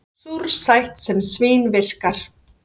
Súrsætt sem svín-virkar